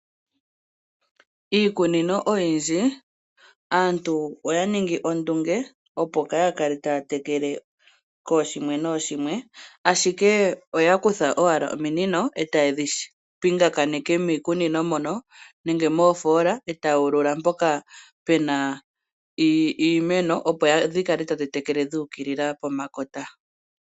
Iikunino oyindji aantu oya ningi ondunge, opo kaaya kale taya tekele kooshimwe nooshimwe, ashike oya kutha owala ominino e taye dhi taakaneke miikunino moka nenge moofoola e taya ulula mpoka pu na iimeno, opo dhi kale tadhi tekele dhu ukilila pomakota.